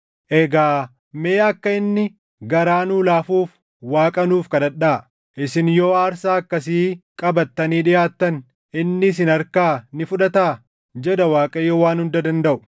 “Egaa mee akka inni garaa nuu laafuuf Waaqa nuuf kadhadhaa. Isin yoo aarsaa akkasii qabattanii dhiʼaattan inni isin harkaa ni fudhataa?” jedha Waaqayyo Waan Hunda dandaʼu.